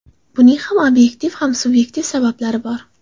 Buning ham obyektiv, ham subyektiv sabablari bor.